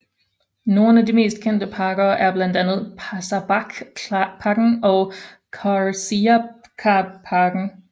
Nogle af de mest kendte parker er blandt andet Paşabahce parken og Karsiyaka parken